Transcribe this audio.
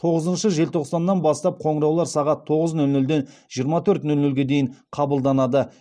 тоғызыншы желтоқсаннан бастап қоңыраулар сағат тоғыз нөл нөлден жиырма төрт нөл нөлге дейін қабылданады